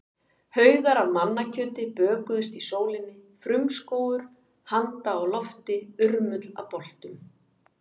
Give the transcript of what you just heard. Haugar af mannakjöti bökuðust í sólinni, frumskógur handa á lofti, urmull af boltum.